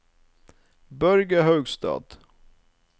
Børge Haugstad